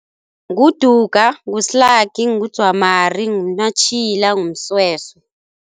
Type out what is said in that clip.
NguDuga, nguSlaki, nguDzwamari, nguMnatjhila, nguMsweswe.